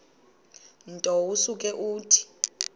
nto usuke uthi